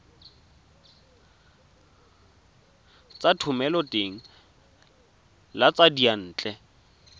tsa thomeloteng le tsa diyantle